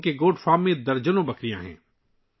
ان کے goat farm میں درجنوں کے قریب بکریاں ہیں